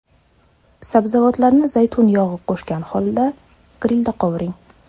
Sabzavotlarni zaytun yog‘i qo‘shgan holda grilda qovuring.